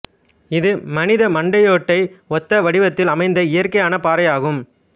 இது மனித மண்டையோட்டை ஒத்த வடிவத்ததில் அமைந்த இயற்கையான பாறையாகும்